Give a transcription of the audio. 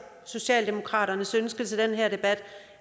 socialdemokratiets ønske til den her debat